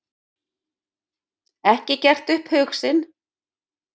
Ekki gert upp hug sinn